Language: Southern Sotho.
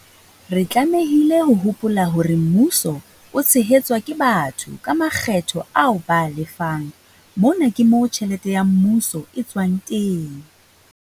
Re tlamehile ho hopola hore Mmuso o tshehetswa ke batho ka makgetho ao ba a lefang - mona ke moo tjhelete ya mmuso e tswang teng.